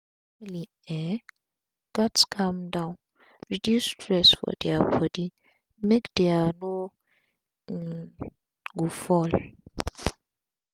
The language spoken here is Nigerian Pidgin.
family um gats calm down reduce stress for dia bodi make dia by no um go fall